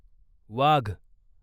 वाघ